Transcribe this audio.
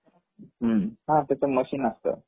ह त्याच मशीन असत